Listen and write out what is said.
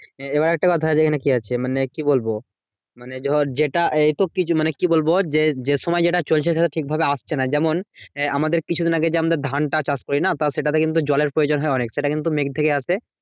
এবার একটা কথা আছে এখানে কি আছে? মানে কি বলবো? মানে ধর যেটা এই তো কিছু মানে কি বলবো? যে যে সময় যেটা চলছে সেটা ঠিকভাবে আসছে না। যেমন এ আমাদের কিছু দিন আগে আমাদের ধনটা চাষ করি না? তাও সেটাতে কিন্তু জলের প্রয়োজন হয় অনেক। সেটা কিন্তু মেঘ থেকে আসে।